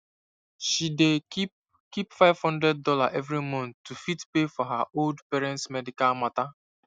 she dey keep keep five hundred dollar every month to fit pay for her old parents medical matter